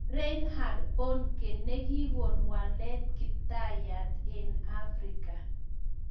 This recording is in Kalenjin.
Reinhard Bonnke nekikoon waleet kiptaiyat eng Afrika